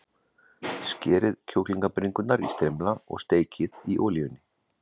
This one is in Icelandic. Skerið kjúklingabringurnar í strimla og steikið í olíunni.